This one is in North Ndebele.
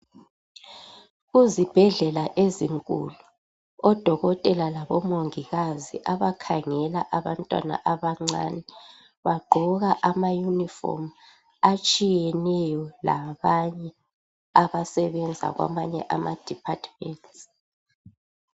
Kuzibhedlela ezinkulu odokotela labo mongikazi abakhangela abantwana abancane bagqoka ama yunifomu atshiyeneyo labanye abasebenza kwamanye amadepartments.